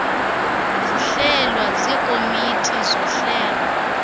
zihlelwa zikomiti zohlelo